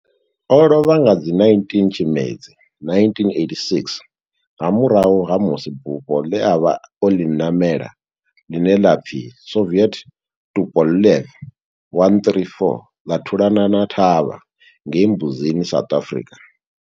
O lovha nga 19 Tshimedzi 1986 nga murahu ha musi bufho le a vha o li namela, line la pfi Soviet Tupolev 134 la thulana na thavha ngei Mbuzini, South Africa.